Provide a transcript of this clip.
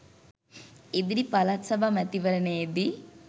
ඉදිරි පළාත් සභා මැතිවරණයේදී